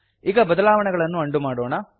ಈಗ ಬದಲಾವಣೆಗಳನ್ನು ಅಂಡು ಮಾಡೋಣ